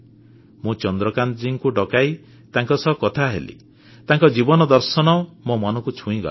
ମୁଁ ଚନ୍ଦ୍ରକାନ୍ତଜୀଙ୍କୁ ଡକେଇ ତାଙ୍କ ସହ କଥା ହେଲି ତାଙ୍କ ଜୀବନ ଦର୍ଶନ ମୋ ମନକୁ ଛୁଇଁଗଲା